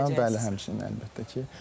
Bəli, həmçinin, əlbəttə ki.